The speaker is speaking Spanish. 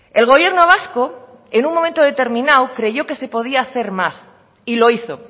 el gobierno vasco en un momento determinado creyó que se podía hacer más y lo hizo